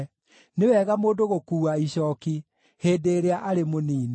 Nĩ wega mũndũ gũkuua icooki hĩndĩ ĩrĩa arĩ mũnini.